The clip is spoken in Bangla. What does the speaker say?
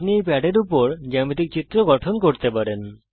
আপনি এই প্যাডের উপর জ্যামিতিক চিত্র গঠন করতে পারেন